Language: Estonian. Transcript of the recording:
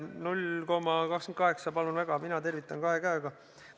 0,28 – palun väga, mina tervitan kahe käega.